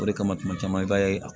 O de kama tuma caman i b'a ye a